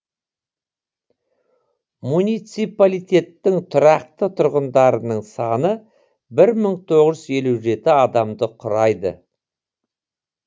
муниципалитеттің тұрақты тұрғындарының саны бір мың тоғыз жүз елу жеті адамды құрайды